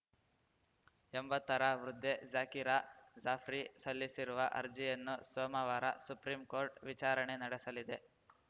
ಎಂಬತ್ತರ ವೃದ್ಧೆ ಝಾಕಿರಾ ಜಾಫ್ರಿ ಸಲ್ಲಿಸಿರುವ ಅರ್ಜಿಯನ್ನು ಸೋಮವಾರ ಸುಪ್ರೀಂಕೋರ್ಟ್‌ ವಿಚಾರಣೆ ನಡೆಸಲಿದೆ